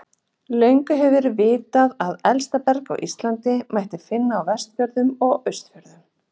Löngum hefur verið vitað að elsta berg á Íslandi mætti finna á Vestfjörðum og Austfjörðum.